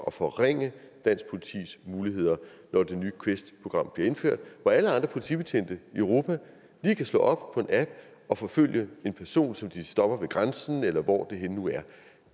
og forringe dansk politis muligheder når det nye quest program bliver indført hvor alle andre politibetjente i europa lige kan slå op på en app og forfølge en person som de stopper ved grænsen eller hvor